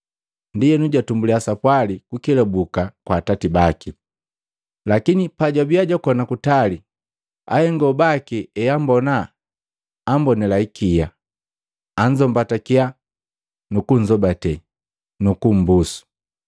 Ndienu jatumbuliya sapwali kukelabuki kwa atati baki. “Lakini pajwabiya jwakona kutali, ahengo baki eabummbona ambonila ikia anzombatakiya, nukunzobate, nukumbusu.”